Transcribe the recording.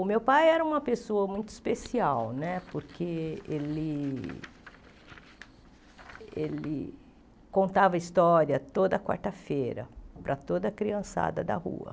O meu pai era uma pessoa muito especial né, porque ele ele contava história toda quarta-feira para toda a criançada da rua.